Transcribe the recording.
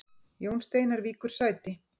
Jón Steinar víkur sæti